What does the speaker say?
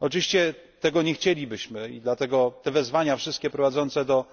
Oczywiście tego byśmy nie chcieli, dlatego te wezwania prowadzące do